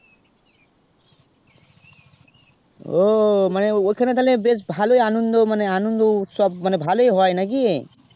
ও ওখানে তাহলে ভালোই আনন্দ উৎসব মানে ভালোই হয় নাকি